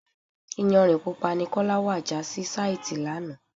Iyanrìn Pupa ni Kọ́lá wá já sí sàìti lánàá.